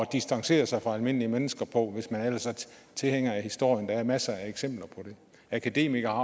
distancere sig fra almindelige mennesker på hvis man ellers er tilhænger af historien der er masser af eksempler på det akademikere